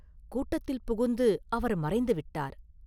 கூட்டத்தில் புகுந்து அவர் மறைந்து விட்டார்.